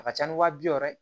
A ka ca ni wa bi wɔɔrɔ ye